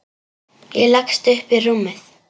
Ég leggst upp í rúmið.